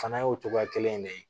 Fana y'o cogoya kelen in de ye